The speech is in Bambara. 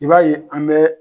I'ba ye an bɛ